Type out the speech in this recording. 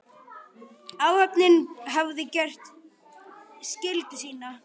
Áhöfnin hafði gert skyldu sína.